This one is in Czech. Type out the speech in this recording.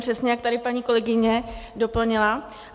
Přesně, jak tady paní kolegyně doplnila.